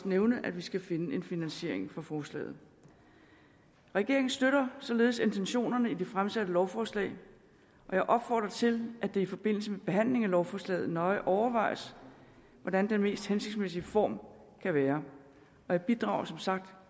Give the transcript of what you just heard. nævne at vi skal finde finansiering forslaget regeringen støtter således intentionerne i det fremsatte lovforslag og jeg opfordrer til at det i forbindelse med behandlingen af lovforslaget nøje overvejes hvordan den mest hensigtsmæssige form kan være jeg bidrager som sagt